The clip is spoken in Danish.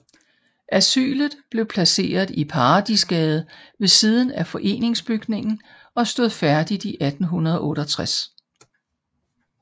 Asylet blev placeret i Paradisgade ved siden af foreningsbygningen og stod færdigt i 1868